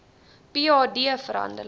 ph d verhandeling